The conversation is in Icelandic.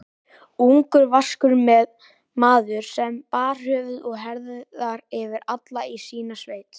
Ungur, vaskur maður, sem bar höfuð og herðar yfir alla í sinni sveit.